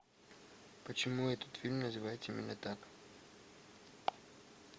почему этот фильм называется именно так